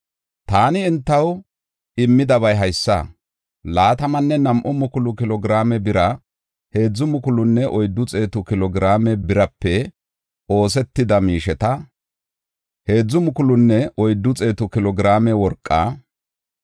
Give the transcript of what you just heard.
Taani entaw immidabay haysa; laatamanne nam7u mukulu kilo giraame bira, heedzu mukulunne oyddu xeetu kilo giraame birape oosetida miisheta, heedzu mukulunne oyddu xeetu kilo giraame worqa,